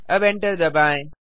अब एंटर दबाएँ